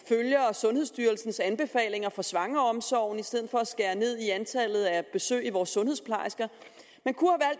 sundhedsstyrelsens anbefalinger for svangreomsorgen i stedet for at skære ned i antallet af besøg af vores sundhedsplejersker man kunne